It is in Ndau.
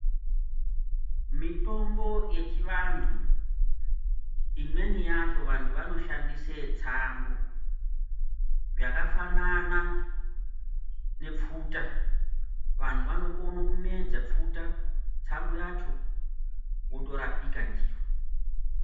Mitombo yechivantu imweni yacho vantu vanoshandise tsangu yakafanana ne pfuta. Vantu vanokona kumedza pfuta, tsangu yacho wotorapika ndiyo.